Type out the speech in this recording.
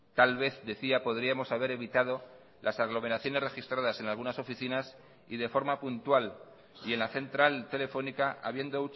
tal vez decía podríamos haber evitado las aglomeraciones registradas en algunas oficinas y de forma puntual y en la central telefónica habiendo